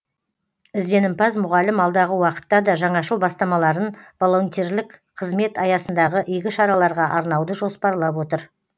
ізденімпаз мұғалім алдағы уақытта да жаңашыл бастамаларын волонтерлік қызмет аясындағы игі шараларға арнауды жоспарлап отыр